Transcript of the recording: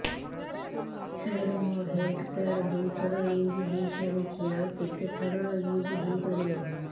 ସାର ମୋ health card ଦୁଇ ଥର ୟୁଜ଼ ହୈ ସାରିଛି ଆଉ କେତେ ଥର ୟୁଜ଼ ହୈ ପାରିବ